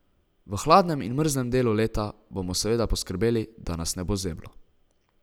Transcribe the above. V hladnem in mrzlem delu leta bomo seveda poskrbeli, da nas ne bo zeblo.